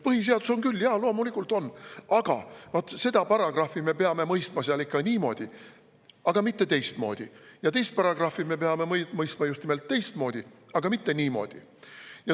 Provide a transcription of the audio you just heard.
Põhiseadus on küll, jaa, loomulikult on, aga vaat seda paragrahvi me peame mõistma seal ikka niimoodi, aga mitte teistmoodi, ja teist paragrahvi me peame mõistma just nimelt teistmoodi, aga mitte niimoodi.